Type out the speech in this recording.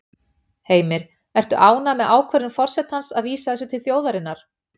Heimir: Ertu ánægð með ákvörðun forsetans að vísa þessu til þjóðarinnar?